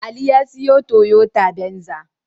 Ali ya sayi Toyota Venza.